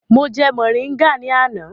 Mo jẹ mọ̀ríngà ní àná.